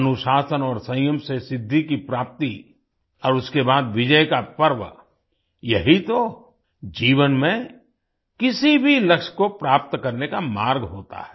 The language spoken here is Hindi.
अनुशासन और संयम से सिद्धि की प्राप्ति और उसके बाद विजय का पर्व यही तो जीवन में किसी भी लक्ष्य को प्राप्त करने का मार्ग होता है